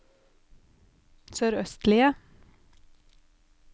sørøstlige